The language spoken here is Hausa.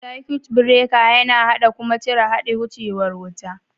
Circuts breaker yana haɗa kuma cire haɗin wucewan wuta.